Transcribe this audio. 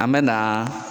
An me na